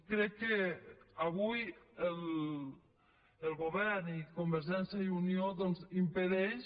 crec que avui el govern i convergència i unió doncs impedeixen